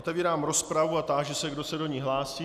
Otevírám rozpravu a táži se, kdo se do ní hlásí.